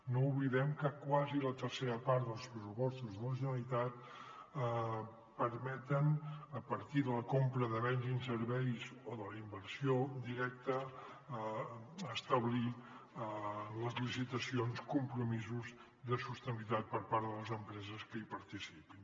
no oblidem que quasi la tercera part dels pressupostos de la generalitat permeten a partir de la compra de béns i serveis o de la inversió directa establir en les licitacions compromisos de sostenibilitat per part de les empreses que hi participin